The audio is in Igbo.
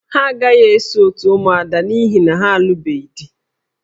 Ha agaghị eso òtù ụmụada n'ihi na ha alụbeghị di